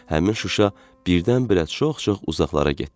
Həmin Şuşa birdən-birə çox-çox uzaqlara getdi.